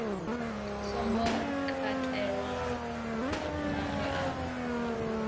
songo katelwa maṅwe a mafhungo